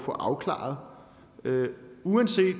få afklaret uanset